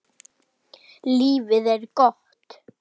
Lífið er gott.